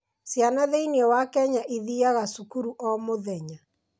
Ciana thĩinĩ wa Kenya ithiaga cukuru o mũthenya.